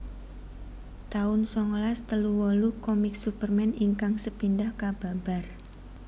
taun songolas telu wolu Komik Superman ingkang sepindhah kababar